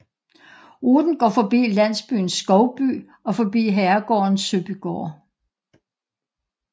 Ruten går forbi landsbyen Skovby og forbi herregården Søbygaard